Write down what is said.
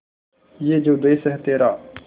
ये जो देस है तेरा